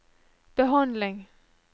behandling